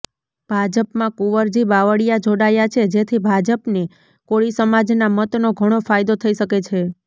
ભાજપમાં કુંવરજી બાવળિયા જોડાયા છે જેથી ભાજપને કોળી સમાજના મતનો ઘણો ફાયદો થઇ શકે છે